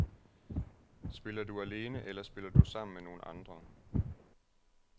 Spiller du alene eller spiller du sammen med nogen andre?